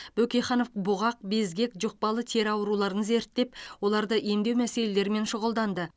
бөкейханов бұғақ безгек жұқпалы тері ауруларын зерттеп оларды емдеу мәселелерімен шұғылданды